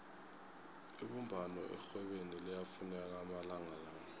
ibumbano erhwebeni liyafuneka amalanga la